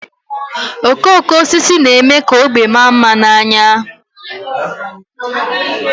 Okooko osisi na-eme ka ógbè maa mma n'anya